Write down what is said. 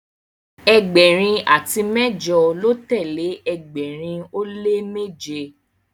ẹgbẹrin ati mẹjọ lọ tẹle ẹgbẹrin o le meje